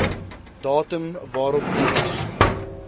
datum waarop diens